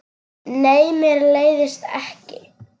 Nei, mér leiðist ekki.